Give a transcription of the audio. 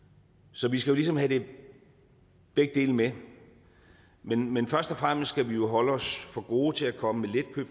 så vi skal jo ligesom have begge dele med men men først og fremmest skal vi holde os for gode til at komme